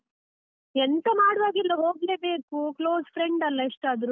ಎಂತ ಮಾಡ್ವಾಗಿಲ್ಲ ಹೋಗ್ಲೇಬೇಕು, close friend ಅಲ್ಲ ಎಷ್ಟಾದ್ರೂ.